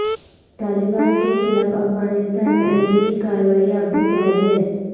طالبان کے خلاف افغانستان میں امریکی کارروائیاں اب بھی جاری ہیں